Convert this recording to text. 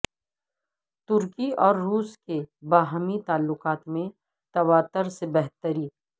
ترکی اور روس کے باہمی تعلقات میں تواتر سے بہتری